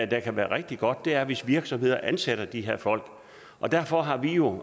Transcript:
der kan være rigtig godt er hvis virksomheder ansætter de her folk og derfor har vi jo